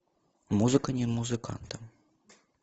музыка не музыкантам